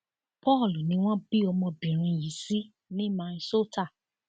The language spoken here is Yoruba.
paul ni wọn bí ọmọbìnrin yìí sí ní minnesota